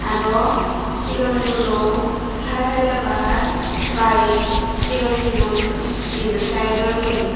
aro sigon guro hara helebar bayek sigon sigon middle saizor guri.